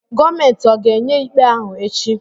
Gọọmenti ọ̀ ga-enye ikpe ahụ echi?